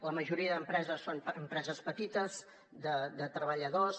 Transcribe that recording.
la majoria d’empreses són empreses petites de treballadors